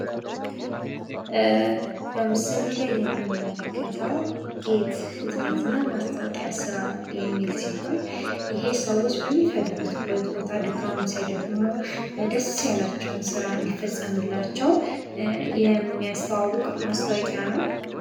በምስሉ ላይ የምንመለከተው ጌት ህትመት እና ማስታወቂያ ስራ የሚል ሲሆን ይሄ ሰዎች በሚፍልጉበት ቦታ ድካም ሳይደክሙ ደስ ያላቸውን ስራ እንዲፈጸምላቸው የሚያስተዋውቅ ማስታዎቂያ ነው።